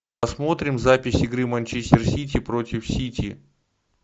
посмотрим запись игры манчестер сити против сити